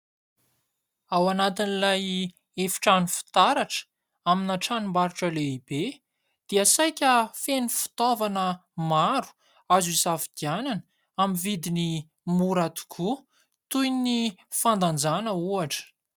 Ao anatin'ilay efitrano fitaratra amina tranom-barotra lehibe dia saika feno fitaovana maro azo isafidianana, amin'ny vidiny mora tokoa, toy ny fandanjana ohatra.